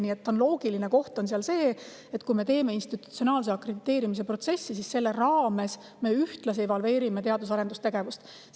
Nii et see on loogiline, et institutsionaalse akrediteerimise protsessi raames me ühtlasi evalveerime teadus- ja arendustegevust.